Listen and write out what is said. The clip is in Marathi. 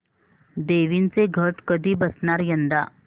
देवींचे घट कधी बसणार यंदा